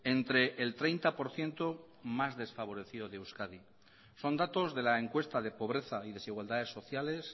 entre el treinta por ciento más desfavorecido de euskadi son datos de la encuesta de pobreza y desigualdades sociales